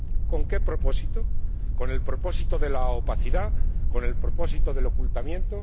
¿Con qué propósito? Con el propósito de la opacidad, con el propósito del ocultamiento.